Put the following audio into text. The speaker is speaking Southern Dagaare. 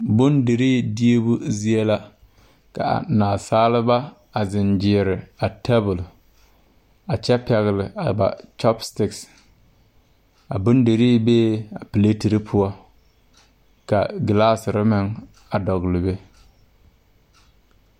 Bondirii diibu zie la ka naasaaba a zeŋ gyeere tabol a kyɛ pɛgle a ba kyopstik a bondirii bee a pleterre poɔ ka glaaserre meŋ a dɔgle be.